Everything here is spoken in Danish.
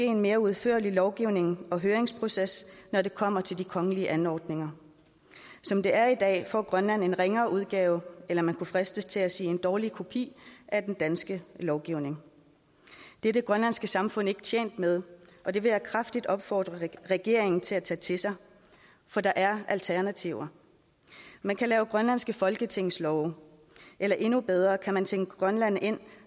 en mere udførlig lovgivning og høringsproces når det kommer til de kongelige anordninger som det er i dag får grønland en ringere udgave eller man kunne fristes til at sige en dårlig kopi af den danske lovgivning det er det grønlandske samfund ikke tjent med og det vil jeg kraftigt opfordre regeringen til at tage til sig for der er alternativer man kan lave grønlandske folketingslove eller endnu bedre kan man tænke grønland ind